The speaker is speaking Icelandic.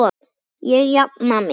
Ég jafna mig.